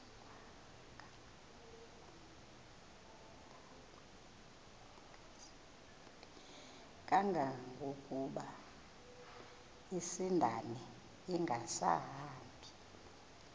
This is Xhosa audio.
kangangokuba isindane ingasahambi